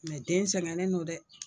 den sɛgɛnnen no dɛ.